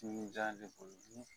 Jugujan de ko dun